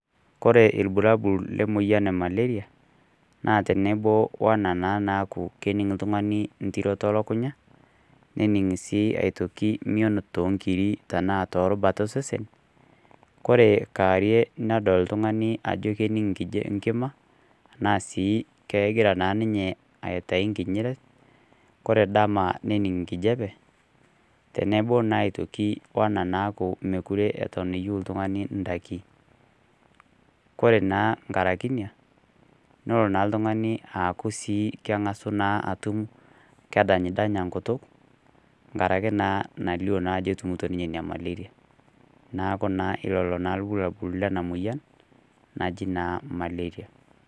Kore irbulabul le emoyian e Malaria naa tenebo naa wena naaku kening' l'tungani ntiroto o lukukunya, nening' sii aitoki mion too nkiri tanaa too irubat esesen, Kore kaawarie nening' l'tungani ajo kening' nkima anaa sii kegira naa ninye aitayu nkinyinyiret, Kore dama nening' nkijape tenebo naa aitoki weena naaku mekure eton eyou l'tungani indaiki. Kore naa nkaraki inia, nelo ltung'ani naa aaku sii keng'asu naa atum kedangdanya enkutuk, nkaraki nautu naa ajo etumito ninye nyamali e malaria. Neaku naa lelo naa ilbulabul Lena moyian najii naaaa malaria.